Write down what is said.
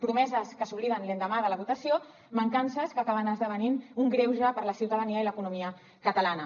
promeses que s’obliden l’endemà de la votació mancances que acaben esdevenint un greuge per a la ciutadania i l’economia catalana